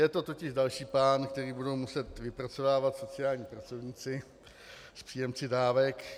Je to totiž další plán, který budou muset vypracovávat sociální pracovníci s příjemci dávek.